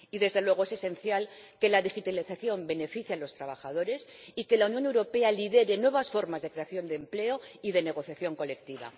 Y, desde luego, es esencial que la digitalización beneficie a los trabajadores y que la Unión Europea lidere nuevas formas de creación de empleo y de negociación colectiva.